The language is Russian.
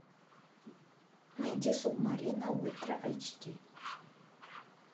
найди субмарина ультра эйч ди